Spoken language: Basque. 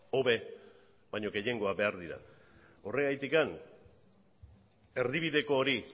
hobe baino gehiengoak behar dira horregatik erdibideko hori